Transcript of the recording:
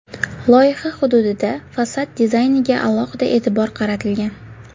Loyiha hududida fasad dizayniga alohida e’tibor qaratilgan.